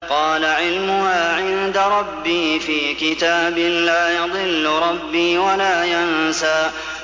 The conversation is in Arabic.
قَالَ عِلْمُهَا عِندَ رَبِّي فِي كِتَابٍ ۖ لَّا يَضِلُّ رَبِّي وَلَا يَنسَى